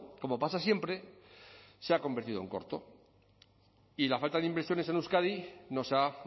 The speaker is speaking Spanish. como pasa siempre se ha convertido en corto y la falta de inversiones en euskadi nos ha